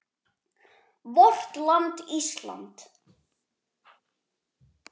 VORT LAND ÍSLAND